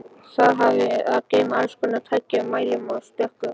Það hafði að geyma allskonar tæki með mælum og tökkum.